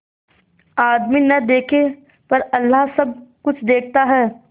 आदमी न देखे पर अल्लाह सब कुछ देखता है